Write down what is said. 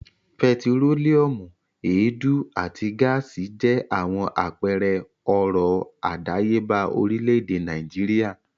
Pẹtírólíúmù, èédú àti gáásì jẹ́ àwọn àpẹẹrẹ ọrọ̀ àdáyébà orílẹ̀-èdè Nàìjíríà.